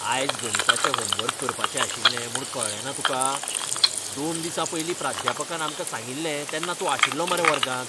आयज गणिताचें होमवर्क करपाचें आशिल्लें म्हूण कळ्ळेंना तुका? दोन दिसां पयलीं प्राध्यापकान आमकां सांगिल्लें तेन्ना तूं आशिल्लो मरे वर्गांत!